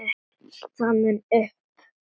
það mun upp